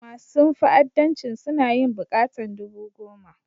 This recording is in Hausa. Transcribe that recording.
Masun fa'addancin suna yin bukatan dubu goma.